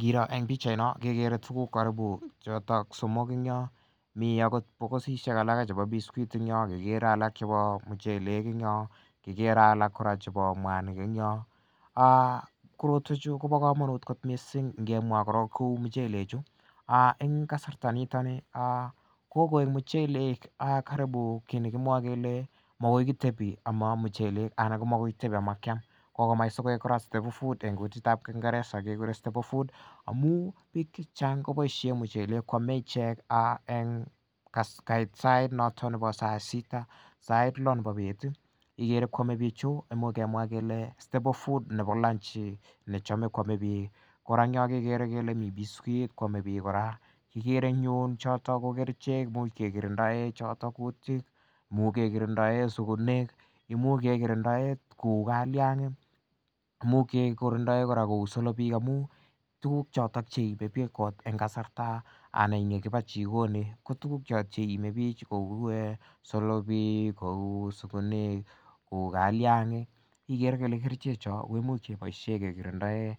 Kirooh en pichait noon kekere tuguk choton somok en Yoon, mi akot bokisisiek chebo sweet agegere alak chebo muchelek en Yoon kikere alak chebo muanik en yong, korotuen chu koba kamanut missing ngemwa akobo kouu muchelek chu en kasarta nito ni kokoek muchelek kit negimwae kele magoi kitebi ama muchelek anan magoi kitebi amakiam en kutit tab kingereza kebire stable food amuun bik chechang kobaishien mucheen kait sait noto nebo saa sita. Ak sait lo nebo bet ih , koame bichu imuch kemwa kele stable food nebo lunch nechame koame bik, kora kikere en Yoon kele b biscuits koame bik kora kikere en yu kerichek cheki kirindaen kutik imuch kekirindae sugunek, kou kalang,'ik, imuch kekirindae kora kou solobek amu tuguk chotet cheimebik en kasarta anan yakibacchiket ko tukuk choto cheimebik kouu eh kouu solopek kouu sugunek, kou kaliangik. Ikere kele kerichek chon imuch kebaisien kekirindae